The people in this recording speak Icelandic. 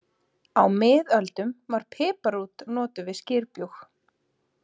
Á miðöldum var piparrót notuð við skyrbjúg.